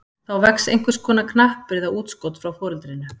Þá vex einhvers konar knappur eða útskot frá foreldrinu.